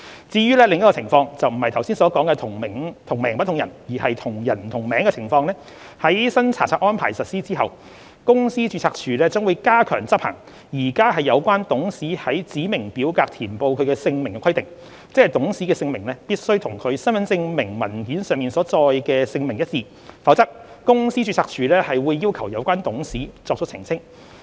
至於另一種情況，即不是剛才所說的"同名不同人"，而是"同人不同名"的情況，在新查冊安排實施後，公司註冊處將加強執行現行有關董事於指明表格填報其姓名的規定，即董事的姓名必須與其身份證明文件上所載的姓名一致，否則公司註冊處會要求有關董事作出澄清。